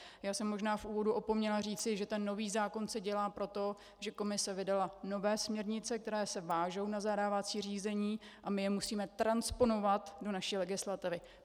Já jsem možná v úvodu opomněla říci, že ten nový zákon se dělá proto, že Komise vydala nové směrnice, které se vážou na zadávací řízení, a my je musíme transponovat do naší legislativy.